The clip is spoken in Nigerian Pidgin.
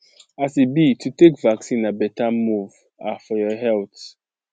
as e be to take vaccine na better move ah for your health